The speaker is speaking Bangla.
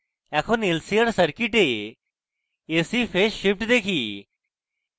এখন lcr circuit ac phase shift দেখি